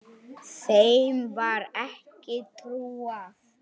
Þeim var ekki trúað.